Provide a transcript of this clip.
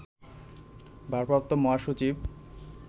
ভারপ্রাপ্ত মহাসচিব